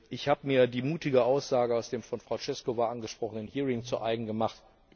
Ich habe mir die mutige Aussage aus dem von Frau Češková angesprochenen Hearing zu eigen gemacht.